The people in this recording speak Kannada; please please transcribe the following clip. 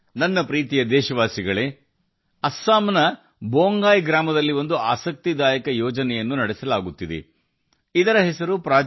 ನನ್ನ ಪ್ರೀತಿಯ ದೇಶವಾಸಿಗಳೇ ಅಸ್ಸಾಂನ ಬೊಂಗೈ ಗ್ರಾಮದಲ್ಲಿ ಆಸಕ್ತಿದಾಯಕ ಯೋಜನೆಯನ್ನು ನಡೆಸಲಾಗುತ್ತಿದೆ ಸಂಪೂರ್ಣ ಯೋಜನೆ